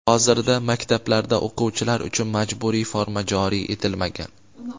hozirda maktablarda o‘quvchilar uchun majburiy forma joriy etilmagan.